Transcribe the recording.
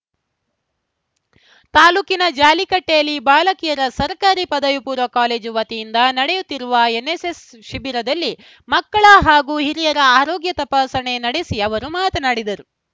ತಾಲೂಕಿನ ಜಾಲಿಕಟ್ಟೆಯಲ್ಲಿ ಬಾಲಕಿಯರ ಸರ್ಕಾರಿ ಪದವಿಪೂರ್ವ ಕಾಲೇಜು ವತಿಯಿಂದ ನಡೆಯುತ್ತಿರುವ ಎನ್‌ಎಸ್‌ಎಸ್‌ ಶಿಬಿರದಲ್ಲಿ ಮಕ್ಕಳ ಹಾಗೂ ಹಿರಿಯರ ಆರೋಗ್ಯ ತಪಾಸಣೆ ನಡೆಸಿ ಅವರು ಮಾತನಾಡಿದರು